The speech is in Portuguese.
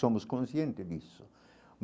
Somos consciente disso.